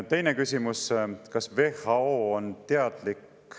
Teine küsimus: kas WHO on teadlik?